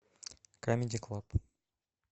камеди клаб